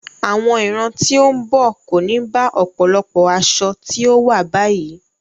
Àwọn ìran tí ó ń bọ̀ kò ní bá ọ̀pọ̀lọpọ̀ aṣọ tí ó wà báyìí.